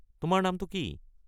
তোমাৰ নামটো কি?